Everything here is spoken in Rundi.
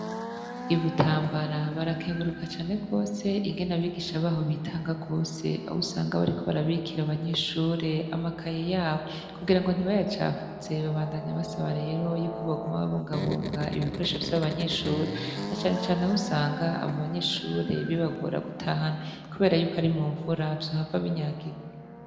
I butambara barakenguruka cane rwose ingene abigisha baho bitanga rwose ahousanga bariko barabikira abanyeshure amakaye yabo kugira ngo ntibayacafuze babandanya abasaba rero yuko baguma babongabonga ibikoresho vy'abanyeshure na canecane ahousanga abo abanyeshure bibagora guta hanu, kubera yuko arimo mmfuravyo hapfa abinyagigo.